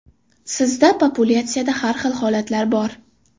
Sizda populyatsiyada har xil holatlar bor.